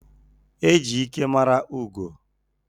E ji ike mara ugo.